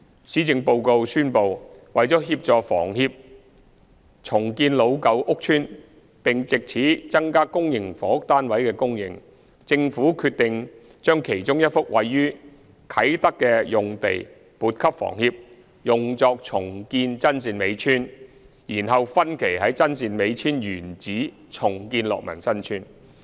施政報告宣布，為了協助房協重建老舊屋邨並藉此增加公營房屋單位的供應，政府決定將其中1幅位於啟德的用地撥給房協用作重建真善美村，然後在真善美村原址分期重建樂民新村。